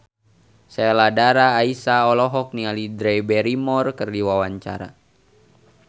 Sheila Dara Aisha olohok ningali Drew Barrymore keur diwawancara